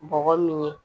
Bɔgɔ min ye